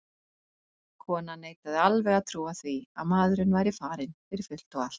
Konan neitaði alveg að trúa því að maðurinn væri farinn fyrir fullt og allt.